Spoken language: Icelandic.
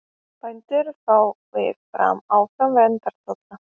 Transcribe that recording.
Bændur fái áfram verndartolla